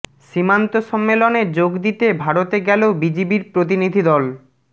সীমান্ত সম্মেলনে যোগ দিতে ভারতে গেলো বিজিবির প্রতিনিধি দল